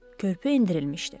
Körpü endirilmişdi.